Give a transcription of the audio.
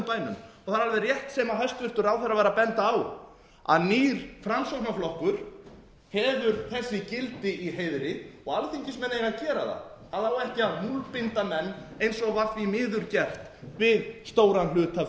og það er alveg rétt sem hæstvirtur ráðherra var að benda á að nýr framsóknarflokkur hefur þessi gildi í heiðri og alþingismenn eiga að gera það það á ekki að múlbinda menn eins og var því miður gert við stóran hluta af